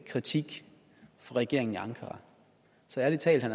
kritik fra regeringen i ankara så ærlig talt